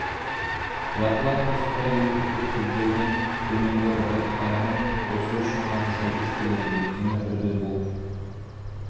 жартылай қоспа екі көп сөздердің төменгі разрядтарының қосу үшін ғана сәйкес келеді өйткені үрді бұл